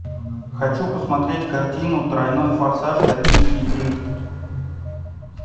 хочу посмотреть картину тройной форсаж токийский дрифт